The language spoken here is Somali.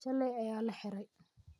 Shalay ayaa la xiray.